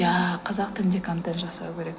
иә қазақ тілінде контент жасау керек